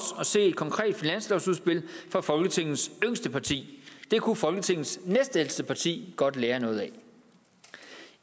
at se et konkret finanslovsudspil fra folketingets yngste parti det kunne folketingets næstældste parti godt lære noget af